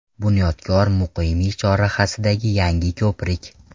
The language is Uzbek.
BunyodkorMuqimiy chorrahasidagi yangi ko‘prik.